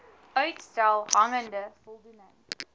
uitstel hangende voldoening